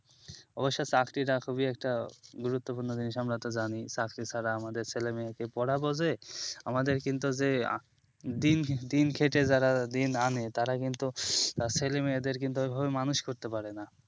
চাকরি একটা গুরুপ্তপূর্ণ জিনিস সেটা আসলে আমরা ভালো করেই জানি চাকরি ছাড়া আমাদের ছেলে মেয়েকে আমাদের কিন্তু যে দিন খেটে যারা দিন আনে তারা কিন্তু বাচাদের ওই ভাবে মানুষ করতে পারে না